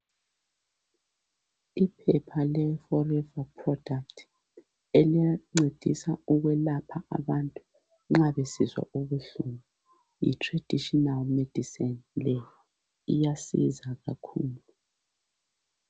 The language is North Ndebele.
iphepha le fomifo product eliyabe lincedisa ukwelapha abantu nxa besizwa ubuhlungu yi traditional medicine leyi iyasiza kakhulu